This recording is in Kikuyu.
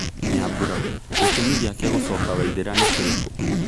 Nyambura:Gĩtũmi gĩake gũcoka Waithĩra ni kĩrĩkũ?